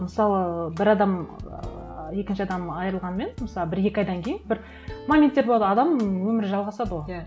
мысалы ы бір адам екінші адам айырылғанымен мысалы бір екі айдан кейін бір моменттер болады адам өмірі жалғасады ғой иә